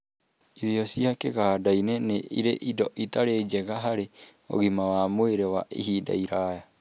Irio cia kĩganda-ĩnĩ, nĩ irĩ indo itarĩ njega harĩ ũgima wa mwĩrĩ wa ihinda iraya.